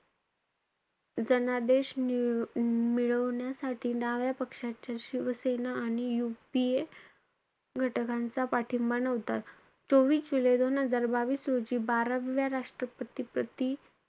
जनादेश मी~ मिळवण्यासाठी, डाव्या पक्षाच्या शिवसेना आणि UPA घटकांचा पाठिंबा नव्हता. चोवीस जुलै दोन हजार बावीस, रोजी बाराव्या राष्ट्रपती प्रति,